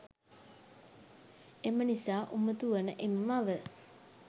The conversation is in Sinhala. එමනිසා උමතු වන එම මව